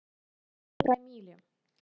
промилле